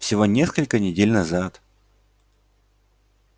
всего несколько недель назад